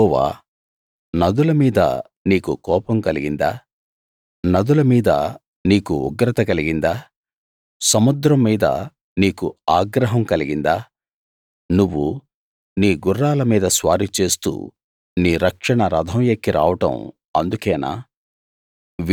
యెహోవా నదుల మీద నీకు కోపం కలిగిందా నదుల మీద నీకు ఉగ్రత కలిగిందా సముద్రం మీద నీకు ఆగ్రహం కలిగిందా నువ్వు నీ గుర్రాల మీద స్వారీ చేస్తూ నీ రక్షణ రథం ఎక్కి రావడం అందుకేనా